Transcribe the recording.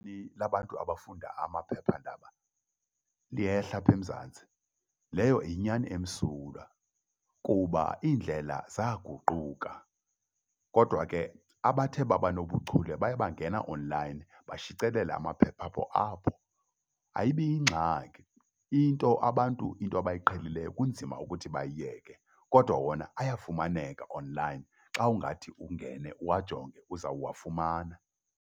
Labantu abafunda amaphephandaba liyehla apha eMzantsi. Leyo yinyani emsulwa kuba indlela zaaxguquka kodwa ke abathe babanobuchule baye bangena onlayini bashicelela amaphepha abo apho. Ayibi yingxaki into abantu into abayiqhelisileyo kunzima ukuthi bayiyeke kodwa wona ayafumaneka online. Xa ungathi ungene uwajongile uzawafumana.